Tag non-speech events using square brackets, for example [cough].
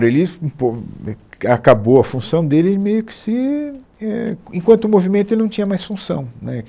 [unintelligible] um po é ca acabou a função dele, ele meio que se, é, en enquanto o movimento ele não tinha mais função, né